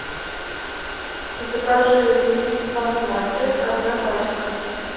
закажи рис басмати одна пачка